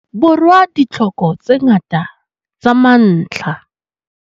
Borwa ditlhoko tse ngata tsa mantlha.